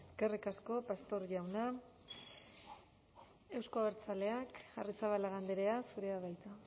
eskerrik asko pastor jauna euzko abertzaleak arrizabalaga andrea zurea da hitza